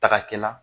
Taka kɛ la